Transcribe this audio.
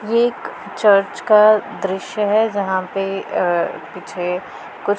ये एक चर्च का दृश्य है जहां पे अ पीछे कुछ--